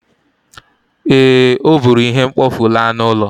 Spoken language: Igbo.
Ee, o buru ihe mkpofu laa n'ụlọ